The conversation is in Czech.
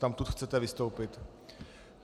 Odtamtud chcete vystoupit?